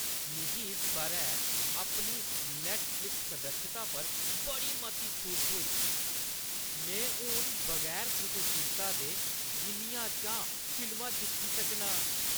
मिगी इस बʼरै अपनी नैट्टफ़्लिक्स सदस्यता पर बड़ी मती छूट थ्होई। में हून बगैर कुसै चिंता दे जिन्नियां चांह् फिल्मां दिक्खी सकनां।